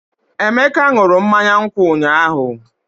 Emeka ṅụrụ mmanya nkwụ ụnyahụ?